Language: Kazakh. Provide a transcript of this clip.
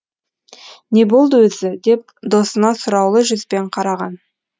не болды өзі деп досына сұраулы жүзбен қараған